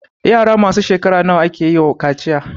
Yara masu shekara nawa akewa kaciya?